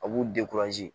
A b'u